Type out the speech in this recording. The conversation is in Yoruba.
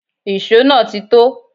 Ìṣó náà ti tó